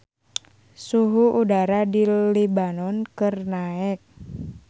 Suhu udara di Lebanon keur naek